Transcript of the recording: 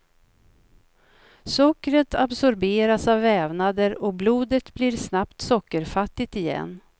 Sockret absorberas av vävnader och blodet blir snabbt sockerfattigt igen.